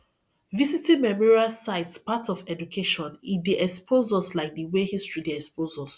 visiting memorial sites part of education e dey expose us like di wey history dey expose us